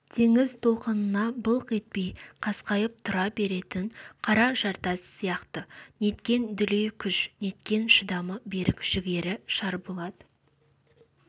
теңіз толқынына былқ етпей қасқайып тұра беретін қара жартас сияқты неткен дүлей күш неткен шыдамы берік жігері шарболат